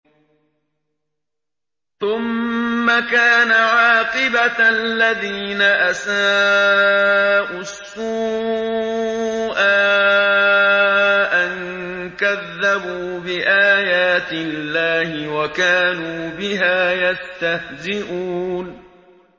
ثُمَّ كَانَ عَاقِبَةَ الَّذِينَ أَسَاءُوا السُّوأَىٰ أَن كَذَّبُوا بِآيَاتِ اللَّهِ وَكَانُوا بِهَا يَسْتَهْزِئُونَ